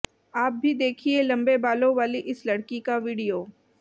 आप भी देखिये लम्बे बालों वाली इस लड़की का वीडियो